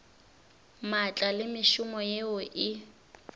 maatla le mešomo yeo e